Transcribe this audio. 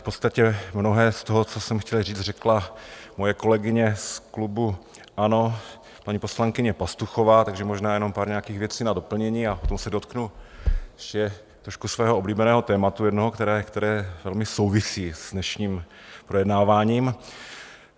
V podstatě mnohé z toho, co jsem chtěl říct, řekla moje kolegyně z klubu ANO, paní poslankyně Pastuchová, takže možná jenom pár nějakých věcí na doplnění a potom se dotknu ještě trošku svého oblíbeného tématu jednoho, které velmi souvisí s dnešním projednáváním.